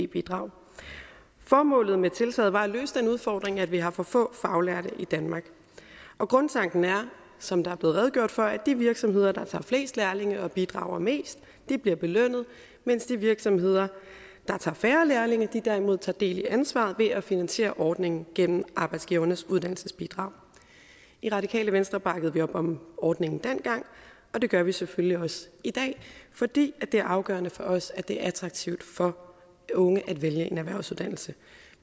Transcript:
bidrag formålet med tiltaget var at løse den udfordring at vi har for få faglærte i danmark og grundtanken er som der er blevet redegjort for at de virksomheder der tager flest lærlinge og bidrager mest bliver belønnet mens de virksomheder der tager færre lærlinge derimod tager del i ansvaret ved at finansiere ordningen gennem arbejdsgivernes uddannelsesbidrag i radikale venstre bakkede vi op om ordningen dengang og det gør vi selvfølgelig også i dag fordi det er afgørende for os at det er attraktivt for unge at vælge en erhvervsuddannelse